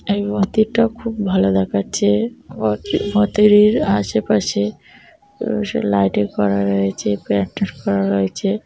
এই মুন্দিরটা খুব ভালো দেখাচ্ছে ভেতরের আসে পাশে অবশ্য লাইটিং করা হয়েছে প্যান্ডেল করা রয়েছে।